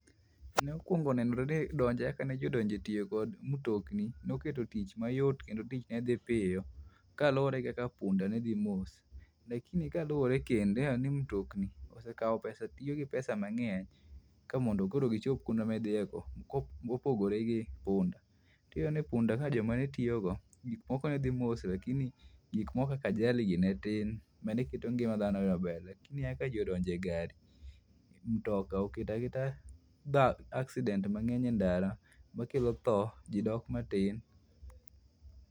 Nokuongo nenore ni kaka ne jii odonje tiyo kod mtokni noketo tich mayot kendo tic nedhi piyo kaluore kaka punda nedhi mos lakini kaluore kendo ineno ni mtokni osekao pesa, tiyo gi pesa mangeny kamondo gichop kuonde midhiye no kopogore gi punda. Tiyudo ni punda jomane tiyogo gik moko ne dhi mos lakini gik moko kaka ajali ni ne tin maneketo ngima dhano maber lakini kaka jii odonje gari, mtoka oketo aketa accident mangeny e ndara makelo tho jii dok matin